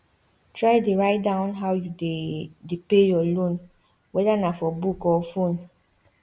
try dey write down how you dey dey pay your loan wether na for book or phone